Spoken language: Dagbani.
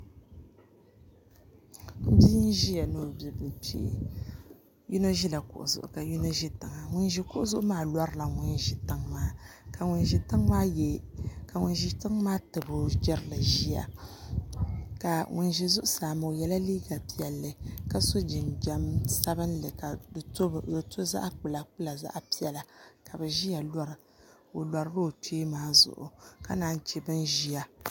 Bia n ʒiya ni o bibili kpee yino ʒila kuɣu zuɣu ka yino ʒi tiŋa ŋun ʒi kuɣu zuɣu maa lorila ŋun ʒi tiŋ maa ka ŋun ʒi tiŋ maa tabi o jirili ʒiya ka ŋun ʒi zuɣusaa maa o yɛla liiga piɛlli ka so jinjɛm sabinli ka di to zaɣ kpula kpula zaɣ piɛla ka bi ʒiya lora o lorila o kpee maa ka naan chɛ bin ʒiya